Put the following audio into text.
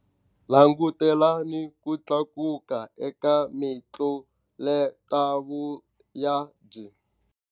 Langutelani ku tlakuka eka mitluletavuyabyi.